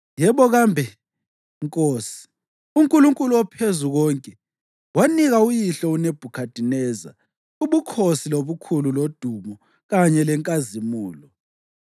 Yebo kambe nkosi, uNkulunkulu oPhezukonke wanika uyihlo uNebhukhadineza ubukhosi lobukhulu lodumo kanye lenkazimulo.